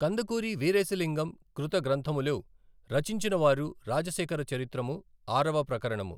కందుకూరి వీరేశలింగం కృత గ్రంథములు, రచించినవారు రాజశేఖర చరిత్రము, ఆరవ ప్రకరణము.